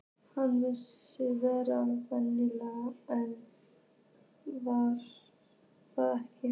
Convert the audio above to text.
Hann virtist vera venjulegur en var það ekki.